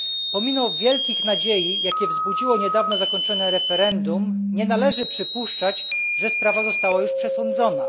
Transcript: Pomimo wielkich nadziei, jakie wzbudziło niedawno zakończone referendum, nie należy przypuszczać, że sprawa została już przesądzona.